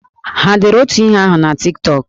Ha dere otu ihe ahụ na Tik Tọk?